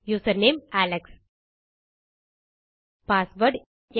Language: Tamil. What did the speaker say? username Alex password